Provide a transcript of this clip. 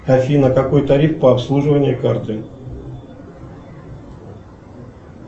афина какой тариф по обслуживанию карты